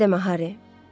Elə demə, Hari.